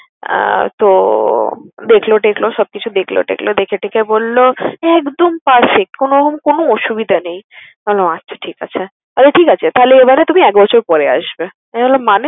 আহ তো দেখলো টেখলো সবকিছু দেখলো টেখলো, দেখে টেখে বলল একদম perfect কোনও~ কোন অসুবিধা নেই। আমি বললাম আচ্ছা ঠিক আছে। Okay ঠিক আছে তাহলে এইবারও তুমি এক বছর পরে আসবে। আমি বললাম মানে?